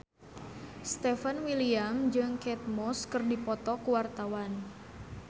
Stefan William jeung Kate Moss keur dipoto ku wartawan